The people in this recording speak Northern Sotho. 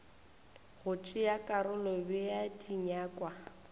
go tšea karolo bea dinyakwa